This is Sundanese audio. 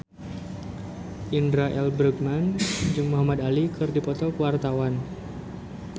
Indra L. Bruggman jeung Muhamad Ali keur dipoto ku wartawan